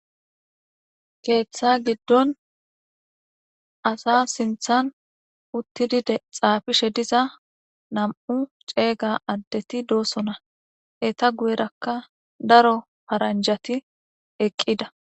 Keththa giddon asa sinththan uththidi xafishe dizza nam'u c'egga addeti de'osona etta guyerakka daro faranjetti eqqida.